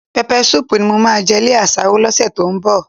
Pẹpẹ súùpù ni mo máa jẹ lé àsáró lọ́sẹ̀ tó ń bọ̀